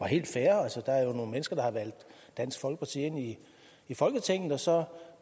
helt fair altså der er nogle mennesker der har valgt dansk folkeparti ind i folketinget og så